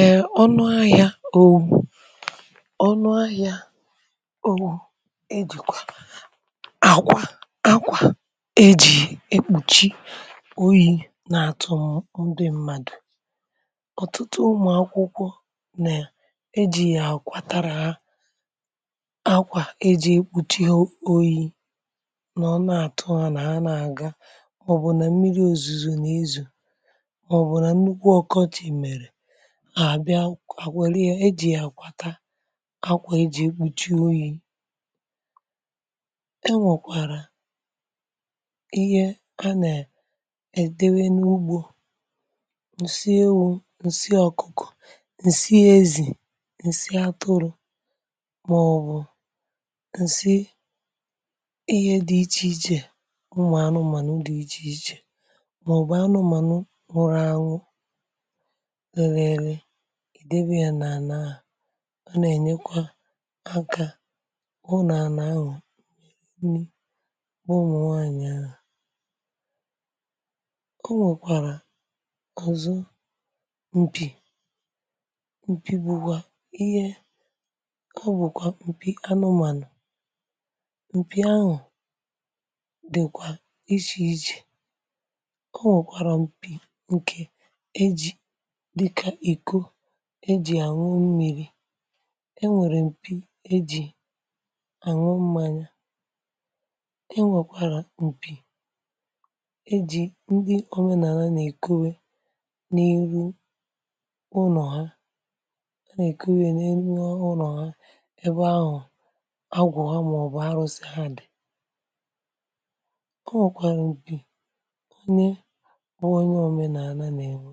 Eè ọnụ ahịa ọwụ, ȯ ònụ ahịa ȯ ònụ e jìkwà àkwà akwà e jì ekpùchi oyi̇ nà-àtụ ndị mmadụ̀. ọ̀tụtụ ụmụ̀ akwụkwọ nà e jì àkwatara ha akwà e jì ekpùchi oyi̇ nà ọ nà-àtụ ha nà ha nà-àga, màọbụ̀ nà mmiri̇ òzùzù nà-ezù, maọbụ na nnụkwụ ọkọchị mere a àbịa kwèrè ihe, e jì ya àkwàta akwà e jì egbùchi oyi̇. e nwèkwàrà ihe ha nè èdewe n’ugbȯ ǹsị ewu̇, ǹsị ọ̀kụ̀kụ̀, ǹsị ezì, ǹsị atụrụ̇, màọbụ̀ ǹsị ihe dị̇ ichè ichè ụmụ̀ anụmànụ dị̀ ichè ichè, màọbụ̀ anụmànụ nụrụ anwụ̇ rerụ-ere, idebe ya n’àna ahụ̀, ọ na-enyekwa aka bụ n’àna ahụ̀ nri bụ ụmụnwaanyị̀ ahụ̀. o nwèkwàrà ọ̀zọ mpì, mpì bụ̀kwà ihe ọ bụ̀kwà mpì anụmànụ̀. mpì ahụ̀ dị̀kwà ichè ichè, enwekwara mpị ejị dịka ịkọ e ji̇ ànwụ mmiri̇, e nwèrè m̀pì e jì ànwụ mmȧnya, e nwèkwàrà m̀pì e jì ndị òmenàlà nà-èkowe n’ihu ụnọ̀ ha, a nà-èkowe n’ihu ụnọ̀ ha ebe ahụ̀ agwọ̀ ha màọ̀bụ̀ arụ̇sị ha dì. o nwèkwàrà m̀pì onye bụ onye òmenàlà nà-èko